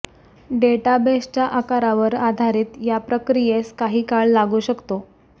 डेटाबेसच्या आकारावर आधारित या प्रक्रियेस काही काळ लागू शकतो